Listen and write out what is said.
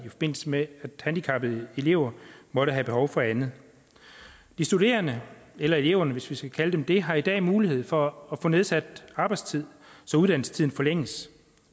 i forbindelse med at handicappede elever måtte have behov for andet de studerende eller eleverne hvis vi skal kalde dem det har i dag mulighed for at få nedsat arbejdstid så uddannelsestiden forlænges